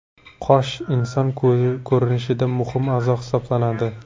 Qosh inson ko‘rinishida muhim a’zo hisoblanadi.